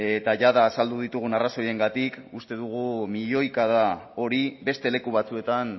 eta jada azaldu ditugun arrazoiengatik uste dugu milioikada hori beste leku batzuetan